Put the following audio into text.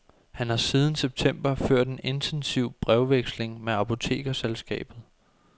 Han har siden september ført en intensiv brevveksling med apotekerselskabet.